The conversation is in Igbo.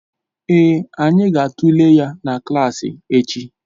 Ee, anyị ga-atụle ya na klas echi